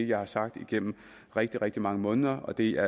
jeg har sagt igennem rigtig rigtig mange måneder og det er